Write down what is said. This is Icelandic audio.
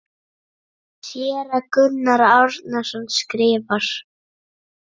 Séra Gunnar Árnason skrifar